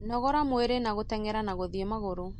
Nogora mwĩrĩ na gũtengera na guthĩi magũru.